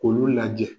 K'olu lajɛ